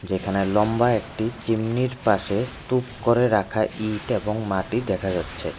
এখানে লম্বা একটি চিমনির এর পাশে স্তুপ করে রাখা ইট এবং মাটি দেখা যাচ্ছে।